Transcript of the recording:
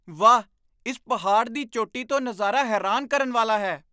ਵਾਹ! ਇਸ ਪਹਾੜ ਦੀ ਚੋਟੀ ਤੋਂ ਨਜ਼ਾਰਾ ਹੈਰਾਨ ਕਰਨ ਵਾਲਾ ਹੈ!